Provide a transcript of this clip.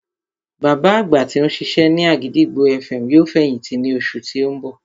Bàbá àgbà tí ó ń ṣiṣẹ́ ní àgìdìgbò FM yóò fẹ̀yìntì ní oṣù tí ó ń bọ̀